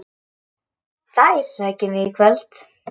Þær sækjum við í kvöld.